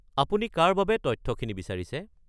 আপুনি কাৰ বাবে তথ্যখিনি বিচাৰিছে?